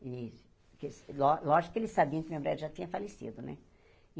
E que ló lógico que eles sabiam que o meu já tinha falecido, né?